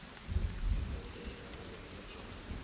si ṱoḓee kana ḽo iledzwaho